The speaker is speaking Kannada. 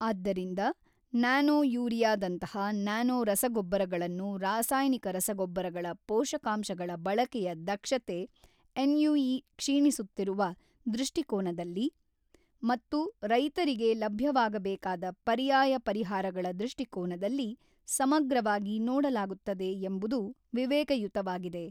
ಆದ್ದರಿಂದ ನ್ಯಾನೋ ಯೂರಿಯಾದಂತಹ ನ್ಯಾನೋ ರಸಗೊಬ್ಬರಗಳನ್ನು ರಾಸಾಯನಿಕ ರಸಗೊಬ್ಬರಗಳ ಪೋಷಕಾಂಶಗಳ ಬಳಕೆಯ ದಕ್ಷತೆ ಎನ್ಯುಇ ಕ್ಷೀಣಿಸುತ್ತಿರುವ ದೃಷ್ಟಿಕೋನದಲ್ಲಿ ಮತ್ತು ರೈತರಿಗೆ ಲಭ್ಯವಾಗಬೇಕಾದ ಪರ್ಯಾಯ ಪರಿಹಾರಗಳ ದೃಷ್ಟಿಕೋನದಲ್ಲಿ ಸಮಗ್ರವಾಗಿ ನೋಡಲಾಗುತ್ತದೆ ಎಂಬುದು ವಿವೇಕಯುತವಾಗಿದೆ.